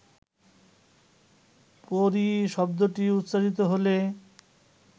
পরী শব্দটি উচ্চারিত হলে